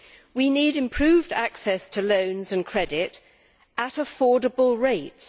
We need improved access to loans and credit at affordable rates.